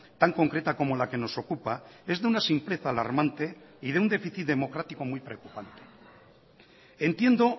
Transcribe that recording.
tan concreta como la que nos ocupa es de una simpleza alarmante y de un déficit democrático muy preocupante entiendo